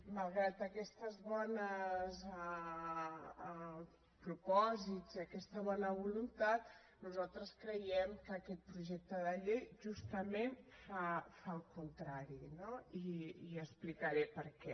malgrat aquests bons propòsits i aquesta bona voluntat nosaltres creiem que aquest projecte de llei justament fa el contrari no i explicaré per què